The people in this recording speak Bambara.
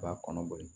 U b'a kɔnɔ boli